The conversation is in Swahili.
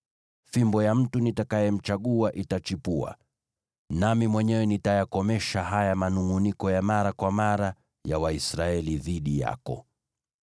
Fimbo ya mtu nitakayemchagua itachipuka, nami mwenyewe nitayakomesha haya manungʼuniko ya mara kwa mara ya Waisraeli dhidi yako.”